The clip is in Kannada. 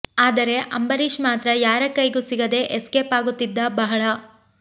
ಆದರೆ ಅಂಬರೀಶ್ ಮಾತ್ರ ಯಾರ ಕೈಗು ಸಿಗದೇ ಎಸ್ಕೇಪ್ ಆಗುತ್ತಿದ್ದ ಬಹಳ